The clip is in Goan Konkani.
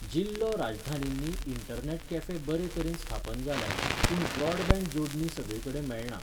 जिल्लो राजधानींनी इंटरनॅट कॅफे बरेतरेन स्थापन जाल्यात, पूण ब्रॉडबँड जोडणी सगळेकडेन मेळना.